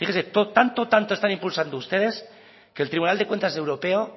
fíjese tanto tanto están impulsando ustedes que el tribunal de cuentas europeo